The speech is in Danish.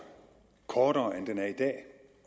kortere end den er i dag